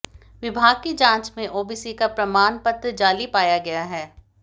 विभाग की जांच में ओबीसी का प्रमाण पत्र जाली पाया गया है